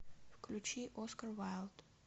включи оскар вайлд